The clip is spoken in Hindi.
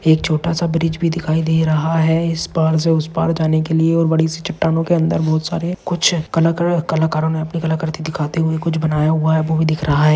एक छोटासा ब्रिज भी दिखाई दे रहा है इस पार से उस पार जाने के लिए और बड़ी सी चट्टानों के अंदर बहुत सारे कुछ कलाकार कलाकारों ने अपनी कला कृति दिखाते हुए कुछ बनाया हुआ है वो भी दिख रहा है।